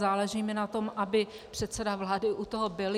Záleží mi na tom, aby předseda vlády u toho byl.